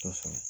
Kosɛbɛ